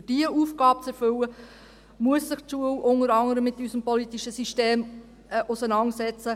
Um diese Aufgabe zu erfüllen, muss sich die Schule unter anderem mit unserem politischen System auseinandersetzen.